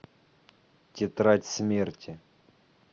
тетрадь смерти